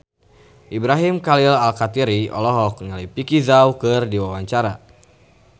Ibrahim Khalil Alkatiri olohok ningali Vicki Zao keur diwawancara